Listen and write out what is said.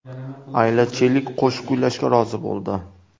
Ayla Chelik qo‘shiq kuylashga rozi bo‘ldi.